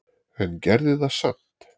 En gerði það samt.